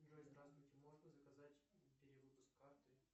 джой здравствуйте можно заказать перевыпуск карты